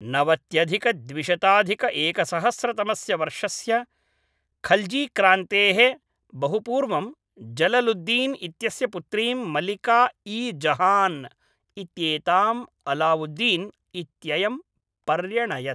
नवत्यधिकद्विशताधिकएकसहस्रतमस्य वर्षस्य खल्जीक्रान्तेः बहुपूर्वं जललुद्दीन् इत्यस्य पुत्रीं मलिका ई जहान् इत्येतां अलावुद्दीन् इत्ययं पर्यणयत्